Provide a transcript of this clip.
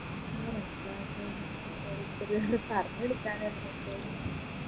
ഉം മനസ്സിലാവട്ടെ ഓരോരുത്തര് പറഞ്ഞുകൊടുക്കനെല്ലേ